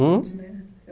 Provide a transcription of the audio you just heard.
Hum